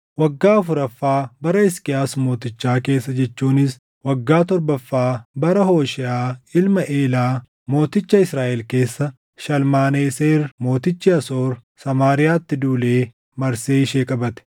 Waggaa afuraffaa bara Hisqiyaas mootichaa keessa jechuunis waggaa torbaffaa bara Hoosheeʼaa ilma Eelaa mooticha Israaʼel keessa Shalmaneseer mootichi Asoor Samaariyaatti duulee marsee ishee qabate.